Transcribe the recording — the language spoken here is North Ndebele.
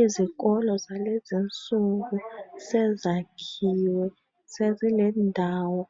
Izikolo zalezinsuku sezakhiwe sezilendawo